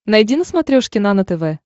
найди на смотрешке нано тв